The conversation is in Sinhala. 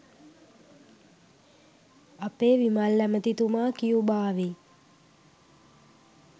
අපේ විමල් ඇමතිතුමා කියුබාවේ